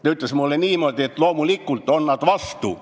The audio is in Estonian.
Ta ütles mulle niimoodi, et loomulikult on nad vastu.